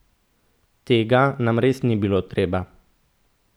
Tega nam res ni bilo treba!